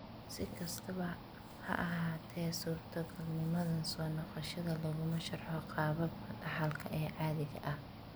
Si kastaba ha ahaatee, suurtogalnimadan soo noqoshada laguma sharxo qaababka dhaxalka ee caadiga ah.